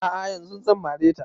A'a yanzun zan mare ta